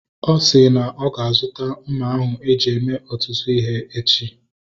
Ọ si na ọ ga-azuta mma ahụ eji eme ọtụtụ ihe echi